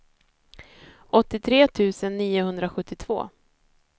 åttiotre tusen niohundrasjuttiotvå